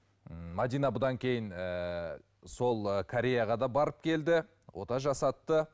м мәдина бұдан кейін ыыы сол кореяға да барып келді ота жасатты